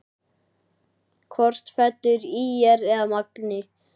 Hvort fellur ÍR eða Magni?